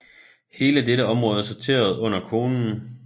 Hele dette område sorterede under konen